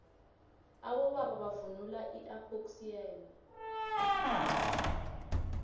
abobaba bavunula ipoxiyane